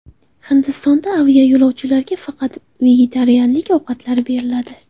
Hindistonda aviayo‘lovchilarga faqat vegetarianlik ovqatlari beriladi.